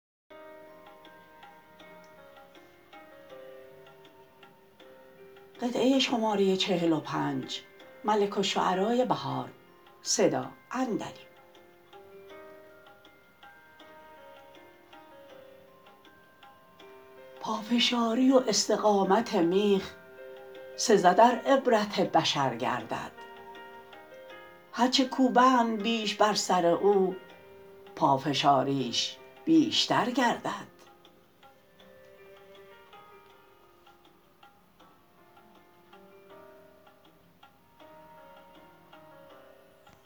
پافشاری و استقامت میخ سزد ار عبرت بشر گردد هر چه کوبند بیش بر سر او پافشاریش بیشتر گردد